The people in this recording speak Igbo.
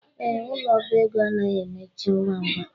Ee, ụlọ ọbá ego anaghi emechi ngwa ngwa